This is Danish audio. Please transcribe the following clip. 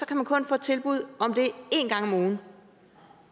kan man kun får et tilbud om det én gang om ugen